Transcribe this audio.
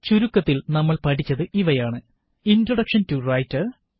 ചുരുക്കത്തില് നമ്മള് പഠിച്ചത് ഇവയാണ് 001043 001042 ഇണ്ട്രോഡക്ഷന് ടു റൈറ്റര്